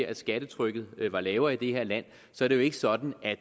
at skattetrykket var lavere i det her land er det jo ikke sådan at